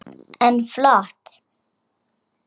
Kort hefði dugað.